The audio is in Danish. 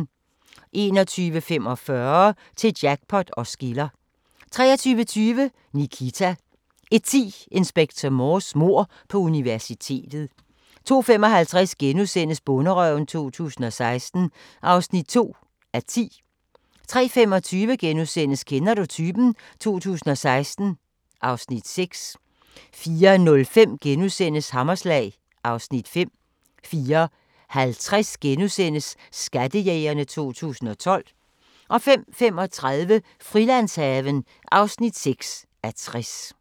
21:45: Til jackpot os skiller 23:20: Nikita 01:10: Inspector Morse: Mord på universitetet 02:55: Bonderøven 2016 (2:10)* 03:25: Kender du typen? 2016 (Afs. 6)* 04:05: Hammerslag (Afs. 5)* 04:50: Skattejægerne 2012 * 05:35: Frilandshaven (6:60)